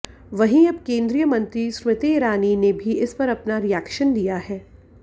वहीं अब केन्द्रीय मंत्री स्मृति ईरानी ने भी इस पर अपना रिएक्शन दिया है